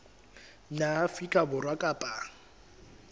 naha ya afrika borwa kapa